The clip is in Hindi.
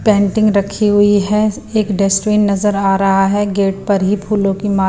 पेंटिंग रखी हुई है एक डेस्टवेन नजर आ रहा है गेट पर ही फूलों की मा--